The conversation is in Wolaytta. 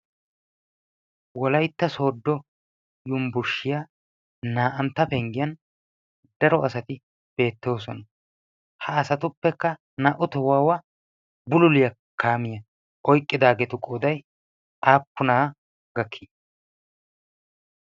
wolaytta sodo yumbburshshiyaa naa'antta penggiyan daro asati beettoosona . ha asatuppekka naa' u tohuwaawa bululiyaa kaamiyaa oyqqidaageetu qooday aappunaa gakkii?